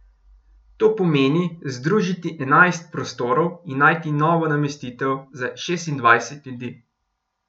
To pomeni, združiti enajst prostorov in najti novo namestitev za šestindvajset ljudi!